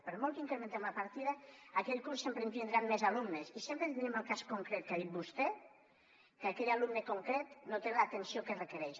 per molt que incrementem la partida aquell curs sempre ens vindran més alumnes i sempre tindrem el cas concret que ha dit vostè que aquell alumne concret no té l’atenció que requereix